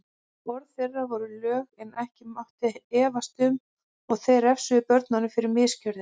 Orð þeirra voru lög sem ekki mátti efast um og þeir refsuðu börnunum fyrir misgjörðir.